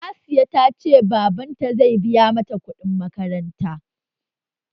Hasiya ta ce baban ta zai biya mata kuɗin makaranta?